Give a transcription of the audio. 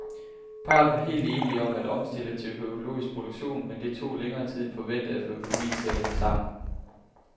Parret var helt enige om at omstille til økologisk produktion, men det tog længere tid end forventet at få økonomien til at hænge sammen.